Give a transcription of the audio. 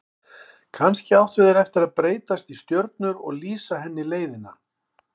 Kannski áttu þeir eftir að breytast í stjörnur og lýsa henni leiðina.